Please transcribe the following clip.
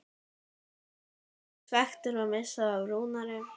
Voru Blikar svekktir að missa af Rúnari?